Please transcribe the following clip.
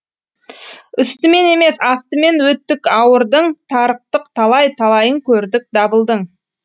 үстімен емес астымен өттік ауырдың тарықтық талай талайын көрдік дабылдың